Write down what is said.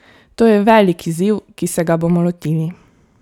To je velik izziv, ki se ga bomo lotili.